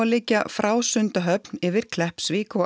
liggja frá Sundahöfn yfir Kleppsvík og